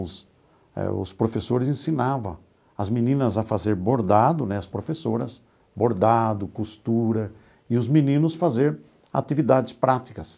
Os professores ensinavam as meninas a fazer bordado né, as professoras, bordado, costura, e os meninos fazer atividades práticas.